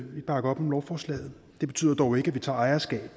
vi bakker op om lovforslaget det betyder dog ikke at vi tager ejerskab